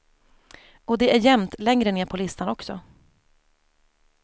Och det är jämnt längre ner på listan också.